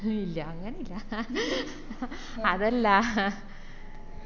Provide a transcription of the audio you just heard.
ഇല്ല അങ്ങനെ ഇല്ല അതല്ല